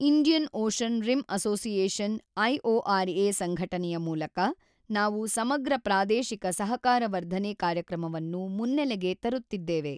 Indian ocean rim association IORA ಸಂಘಟನೆಯ ಮೂಲಕ ನಾವು ಸಮಗ್ರಪ್ರಾದೇಶಿಕ ಸಹಕಾರವರ್ಧನೆ ಕಾರ್ಯಕ್ರಮವನ್ನು ಮುನ್ನೆಲೆಗೆ ತರುತ್ತಿದ್ದೇವೆ.